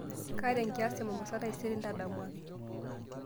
kaata enkias te mombasa taisere ntadamuaki